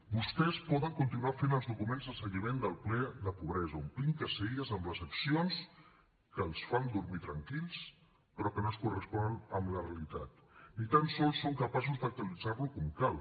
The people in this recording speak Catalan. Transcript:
vostès poden continuar fent els documents de seguiment del ple de pobresa omplint caselles amb els accions que els fan dormir tranquils però que no es corresponen amb la realitat ni tan sols són capaços d’actualitzar los com cal